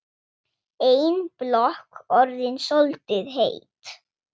Ein blokk orðin soldið heit.